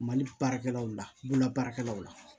Mali baarakɛlaw la bololabaarakɛlaw la